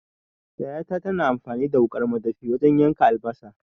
Yayata tana amfani da wuƙar madafi wajan yanka albasa